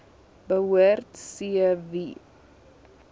behoort c wie